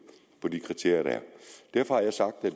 fra de kriterier der er derfor har jeg sagt at